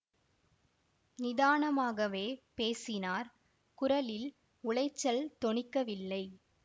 நிதானமாகவே பேசினார் குரலில் உளைச்சல் தொனிக்கவில்லை